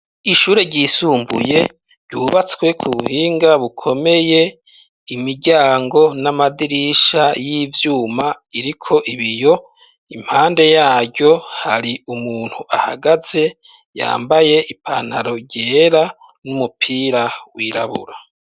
Ishure ryisumbuye ryubatswe ku buhinga bukomeye, imiryango n'amadirisha y'ivyuma iriko ibiyo, impande yaryo hari umuntu ahagaze yambaye ipantaro ryera n'umupira wirabura.